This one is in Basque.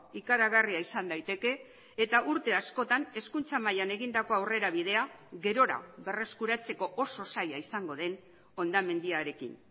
ikaragarria izan daiteke eta urte askotan hezkuntza mailan egindako aurrerabidea gerora berreskuratzeko oso zaila izango den hondamendiarekin